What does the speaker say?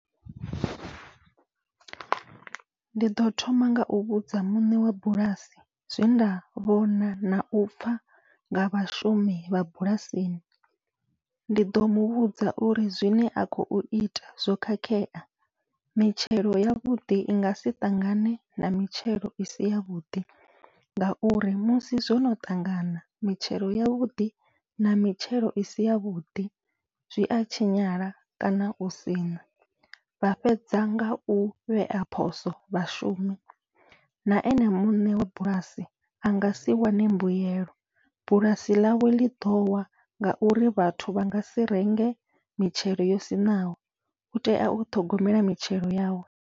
Ndi ḓo thoma ngau vhudza muṋe wa bulasi zwe nda vhona nau pfha nga vhashumi vha bulasini, ndi ḓo muvhudza uri zwine a khou ita zwo khakhea mitshelo yavhuḓi i ngasi ṱangane na mitshelo isi yavhuḓi ngauri musi zwono ṱangana mitshelo yavhuḓi na mitshelo isi yavhuḓi zwia tshinyala kana u siṋa. Vha fhedza ngau vhea phoso vhashumi na ene muṋe wa bulasi angasi wane mbuyelo bulasi ḽawe ḽi ḓowa, ngauri vhathu vha ngasi renge mitshelo yo siṋaho utea u ṱhogomela mitshelo yawe.